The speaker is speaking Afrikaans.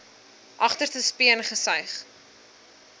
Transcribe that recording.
agterste speen gesuig